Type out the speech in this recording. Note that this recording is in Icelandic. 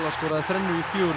skoraði þrennu í fjögur